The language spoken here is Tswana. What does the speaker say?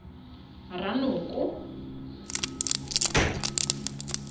ranoko